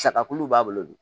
Sagakulu b'a bolo dun